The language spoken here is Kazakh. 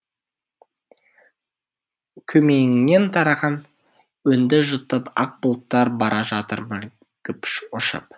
көмейіңнен тараған үнді жұтып ақ бұлттар бара жатыр мүлгіп ұшып